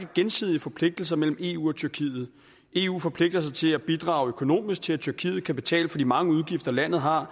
gensidige forpligtelser mellem eu og tyrkiet eu forpligter sig til at bidrage økonomisk til at tyrkiet kan betale for de mange udgifter landet har